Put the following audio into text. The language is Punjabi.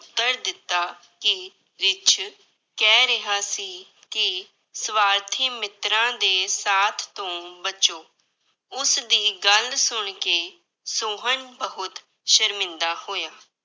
ਉੱਤਰ ਦਿੱਤਾ ਕਿ ਰਿੱਛ ਕਹਿ ਰਿਹਾ ਸੀ ਕਿ ਸਵਾਰਥੀ ਮਿੱਤਰਾਂ ਦੇ ਸਾਥ ਤੋਂ ਬਚੋ, ਉਸਦੀ ਗੱਲ ਸੁਣਕੇ ਸੋਹਨ ਬਹੁਤ ਸ਼ਰਮਿੰਦਾ ਹੋਇਆ।